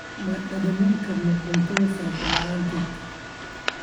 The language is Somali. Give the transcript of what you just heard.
Ma dhammayn karno cuntada salad la'aanteed.